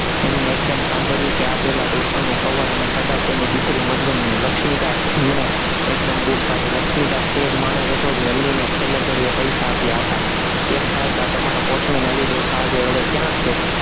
એમને એકદમ સાંભળ્યું કે આ પહેલા ડોસાનું કવર અને કદાચ એની દીકરી મરિયમનું લક્ષ્મીદાસ એમણે એકદમ બૂમ પાડી, લક્ષ્મીદાસ તે જ માણસ હતો, જેને અલીએ છેલ્લે ઘડીએ પૈસા આપ્યા હતા, કેમ સાહિબા તમારો કોચમેન અલીડો શાહ જે હવે ક્યાં છે?